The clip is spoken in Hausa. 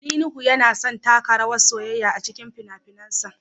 Ali Nuhu yana son taka rawar soyayya a cikin fina-finansa